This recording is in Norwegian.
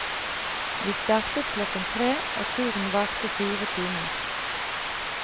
Vi startet klokken tre og turen varte fire timer.